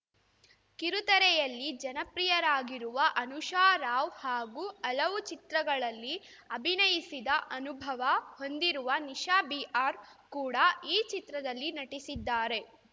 ಕಿರುತೆರೆಯಲ್ಲಿ ಜನಪ್ರಿಯರಾಗಿರುವ ಅನುಷಾ ರಾವ್‌ ಹಾಗೂ ಹಲವು ಚಿತ್ರಗಳಲ್ಲಿ ಅಭಿನಯಿಸಿದ ಅನುಭವ ಹೊಂದಿರುವ ನಿಷಾ ಬಿ ಆರ್‌ ಕೂಡ ಈ ಚಿತ್ರದಲ್ಲಿ ನಟಿಸಿದ್ದಾರೆ